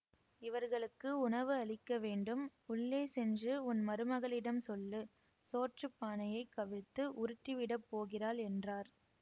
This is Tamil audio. இவர்களுக்கு உணவு அளிக்க வேண்டும் உள்ளே சென்று உன் மருமகளிடம் சொல்லு சோற்றுப் பானையைக் கவிழ்த்து உருட்டிவிடப் போகிறாள் என்றார்